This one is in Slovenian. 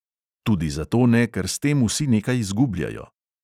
Tudi zato ne, ker s tem vsi nekaj zgubljajo.